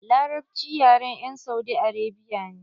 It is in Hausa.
Larabci yaren 'yan Saudi Arabia ne.